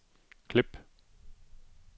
klip